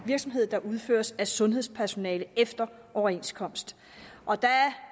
virksomhed der udføres af sundhedspersonale efter overenskomst